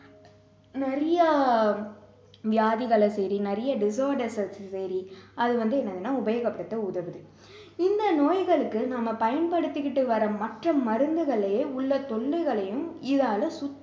நிறைய வியாதிகளை சரி நிறைய disorders அ சரி அது வந்து என்னதுன்னா உபயோகப்படுத்த உதவுது இந்த நோய்களுக்கு நம்ம பயன்படுத்திகிட்டு வர்ற மற்ற மருந்துகளிலே உள்ள துண்டுகளையும் இதால சுத்தம்